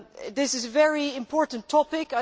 This is a very important topic.